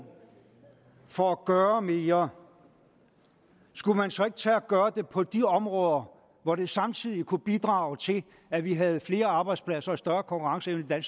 for at gøre mere skulle man så ikke tage at gøre det på de områder hvor det samtidig kunne bidrage til at vi havde flere arbejdspladser og større konkurrenceevne i